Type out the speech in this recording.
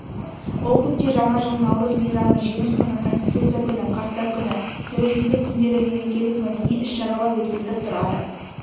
округте жаңа жыл наурыз мейрамы жеңіс күні конститутция күні қарттар күні тәуелсіздік күндері мерекелік мәдени іс-шаралар өткізіліп тұрады